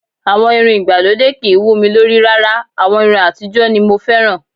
Àwọn irun ìgbàlódé kìí wú mi lórí rárá. Àwọn irun àtijọ́ ni mo fẹ́ràn